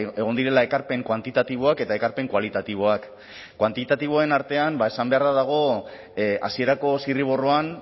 egon direla ekarpen kuantitatiboak eta ekarpen kualitatiboak kuantitatiboen artean esan beharra dago hasierako zirriborroan